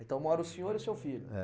Então mora o senhor e o seu filho? É.